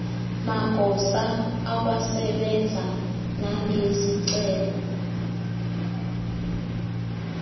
magosa akwasebenza nangezicelo